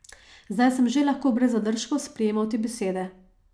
Zdaj sem že lahko brez zadržkov sprejemal te besede.